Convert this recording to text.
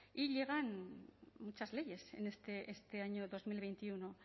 y llegan muchas leyes en este año dos mil veintiuno